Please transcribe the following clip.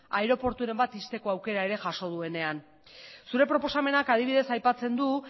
aireporturen bat ixteko aukera ere jaso duenean zure proposamenak adibidez aipatzen du